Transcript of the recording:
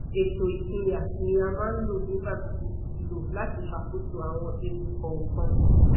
èto ipinya ni a maa n lo nigbagbogbo lo lati ṣakoso awọn ewu kọọkan